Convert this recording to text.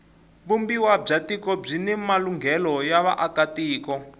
vumbiwa bya tiko byini malunghelo ya vaaka tiko